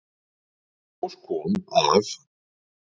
Í ljós kom, að